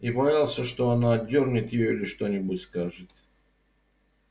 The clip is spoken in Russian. и боялся что она отдёрнет её или что нибудь скажет